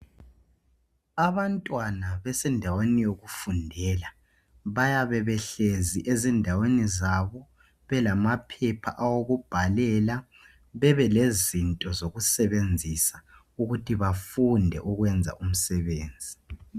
Abantwana besendaweni yokufundela bayabe behlezi ezindaweni zabo belamaphepha awokubhalela lezinto zokusebenzisa ukuthi bafunde ukwenza umsebenzi